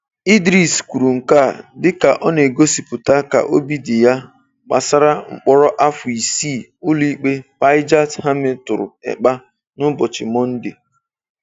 Idris kwuru nke a dịka ọ na-egosipụta ka obi dị ya gbasara mkpọrọ afọ isii Ụlọikpe Päijät-Häme tụrụ Ekpa n'ụbọchị Mọnde.